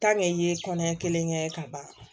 i ye kɔnɔɲɛ kelen kɛ ka ban